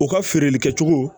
U ka feereli kɛcogo